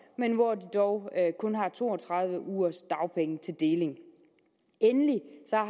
men hvor de dog kun har to og tredive ugers dagpenge til deling endelig